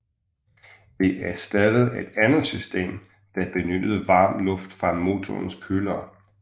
Det erstattede et andet system der benyttede varm luft fra motorens køler